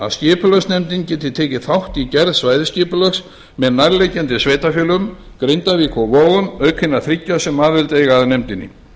að skipulagsnefndin geti tekið þátt í gerð svæðisskipulags með nærliggjandi sveitarfélögum grindavík og vogum auk hinna þriggja sem aðild eiga að nefndinni